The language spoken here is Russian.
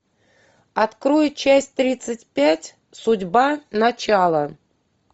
открой часть тридцать пять судьба начало